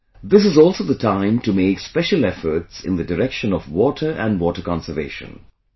This is also the time to make special efforts in the direction of 'water' and 'water conservation'